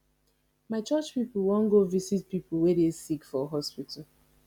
my church pipo wan go visit pipo wey dey sick for hospital